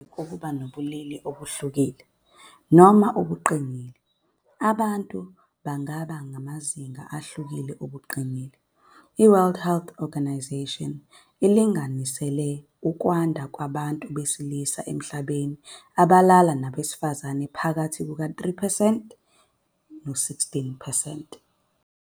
Ngaphandle kokuba ngabobulili obuhlukile noma ubungqingili, abantu bangaba ngamazinga ahlukene wobungqingili. I-World Health Organisation ilinganisela ukwanda kwabantu besilisa emhlabeni abalala nabesilisa phakathi kuka-3 no-16 percent.